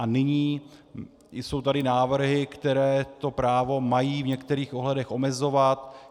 A nyní jsou tady návrhy, které to právo mají v některých ohledech omezovat.